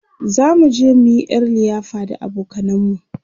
zamu je muyi ƴar liyafa da abokanan mu